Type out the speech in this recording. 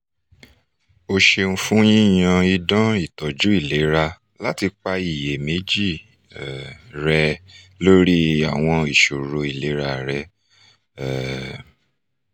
o ṣeun fún yíyan idán ìtọ́jú ìlera láti pa ìyèméjì um rẹ́ lórí àwọn ìṣòro ìlera rẹ um